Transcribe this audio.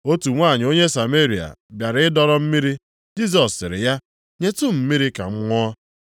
Otu nwanyị onye Sameria + 4:7 Ndị Sameria bụ ụmụ a mụtara site nʼọlụlụ di na nwunye dị nʼetiti ụfọdụ ndị Juu ha na ndị Asịrịa. bịara ịdọrọ mmiri, Jisọs sịrị ya, “Nyetụ m mmiri ka m ṅụọ.”